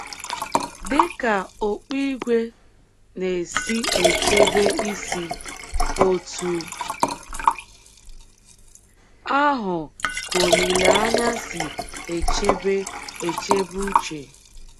Dị ka okpu ígwè na - esi echebe isi, otú ahụ ka olileanya si echebe echebe uche